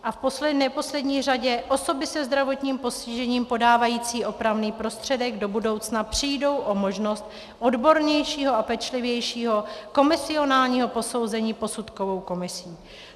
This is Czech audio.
A v neposlední řadě - osoby se zdravotním postižením podávající opravný prostředek do budoucna přijdou o možnost odbornějšího a pečlivějšího komisionálního posouzení posudkovou komisí.